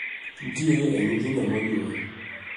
Nitiere e nyithindo monyuol